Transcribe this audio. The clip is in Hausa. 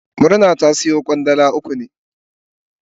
Murna ta siyo zannuwan Kwandala uku ne.